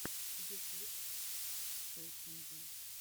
ютуб пэсинджэ